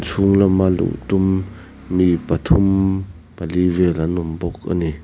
chhung lama luh tum mi pathum pali vel an awm bawk ani.